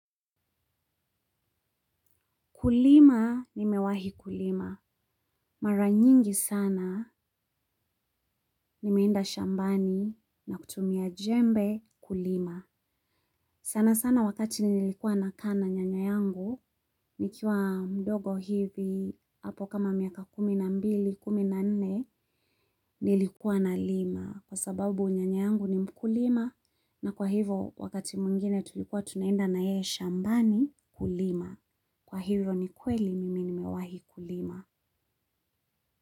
Kulima, nimewahi kulima. Mara nyingi sana, nimenda shambani na kutumia jembe kulima. Sana sana wakati nilikuwa na kaa nyanya yangu, nikiwa mdogo hivi, hapo kama miaka kumi na mbili, kumi na nne, nilikuwa na lima. Kwa sababu nyanya yangu ni mkulima na kwa hivo, wakati mwingine tulikuwa, tunaenda na yeye shambani kulima. Kwa hivyo, ni kweli, mimi nimewahi kulima.